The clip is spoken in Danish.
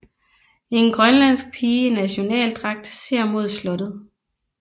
En grønlandsk pige i nationaldragt ser mod slottet